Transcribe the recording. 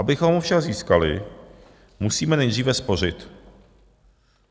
Abychom ho však získali, musíme nejdříve spořit.